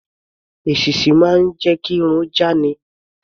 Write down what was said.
Èṣíṣí máa ń jẹ́ kí irun já ni.